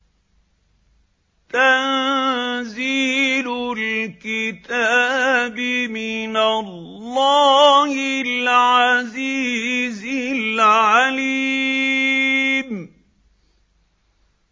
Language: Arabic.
تَنزِيلُ الْكِتَابِ مِنَ اللَّهِ الْعَزِيزِ الْعَلِيمِ